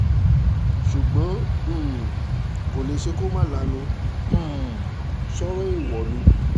ṣùgbọ́n um kò lè ṣe kó má lanu um sọ́rọ̀ èèwọ̀ ni